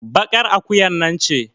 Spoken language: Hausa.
baƙar akuyar nan ce